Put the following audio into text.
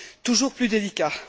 toujours plus délicats.